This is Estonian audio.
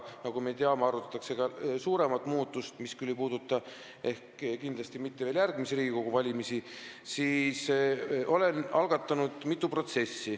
Nagu me teame, arutatakse ka suuremat muudatust, mis kindlasti ei puuduta veel järgmisi Riigikogu valimisi.